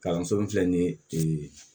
Kalanso min filɛ nin ye ee